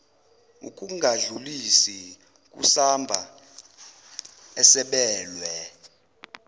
ukungadlulisi kusamba esabelwe